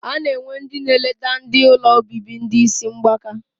Ana enwe ndi na eleta ndi ụlọ obibi ndi isi mgbaka.